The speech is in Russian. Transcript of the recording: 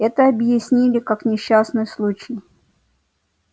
это объяснили как несчастный случай